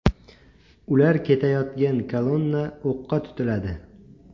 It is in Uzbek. Ular ketayotgan kolonna o‘qqa tutiladi.